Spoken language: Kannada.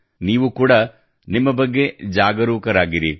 ನೀವು ಕೂಡಾ ನಿಮ್ಮ ಬಗ್ಗೆ ಜಾಗರೂಕರಾಗಿರಿ